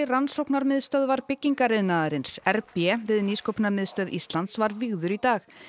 Rannsóknarmiðstöðvar byggingariðnaðarins r b við Nýsköpunarmiðstöð Íslands var vígður í dag